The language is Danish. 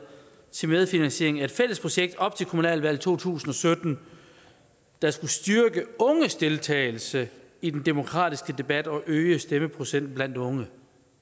til medfinansiering af et fælles projekt op til kommunalvalget to tusind og sytten der skal styrke unges deltagelse i den demokratiske debat og øge stemmeprocenten blandt unge